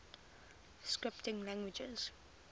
scripting languages